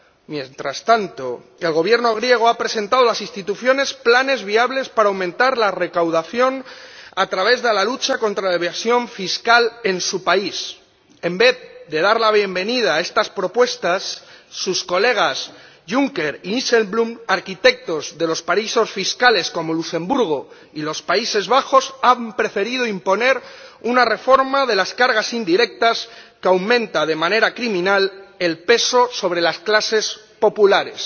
Mientras tanto, el Gobierno griego ha presentado a las instituciones planes viables para aumentar la recaudación a través de la lucha contra la evasión fiscal en su país. En vez de dar la bienvenida a estas propuestas, sus colegas Juncker y Dijsselbloem, arquitectos de los paraísos fiscales como Luxemburgo y los Países Bajos, han preferido imponer una reforma de las cargas indirectas que aumenta, de manera criminal, el peso sobre las clases populares.